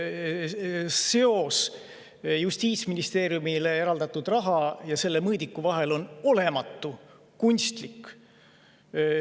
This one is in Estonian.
Seos Justiitsministeeriumile eraldatud raha ja selle mõõdiku vahel on olematu, kunstlik.